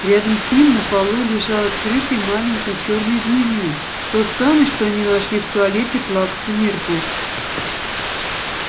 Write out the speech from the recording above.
рядом с ним на полу лежал открытый маленький чёрный дневник тот самый что они нашли в туалете плаксы миртл